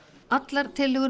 allar tillögur